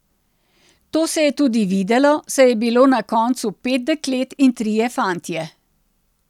To se je tudi videlo, saj je bilo na koncu pet deklet in trije fantje.